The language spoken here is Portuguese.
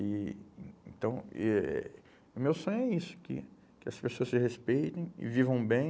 E então, eh o meu sonho é isso, que que as pessoas se respeitem e vivam bem,